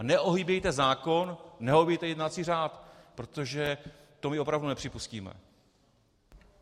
A neohýbejte zákon, neohýbejte jednací řád, protože to mi opravdu nepřipustíme.